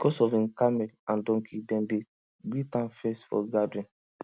because of him camel and donkey dem dey greet am first for gathering